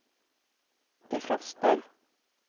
defroster